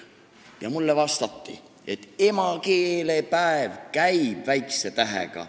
Ja mulle anti teada, et emakeelepäev käib väikse tähega.